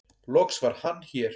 loks var Hann hér